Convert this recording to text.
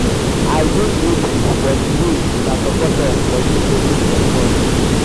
i dey grateful for di way una support us for dis naming ceremony.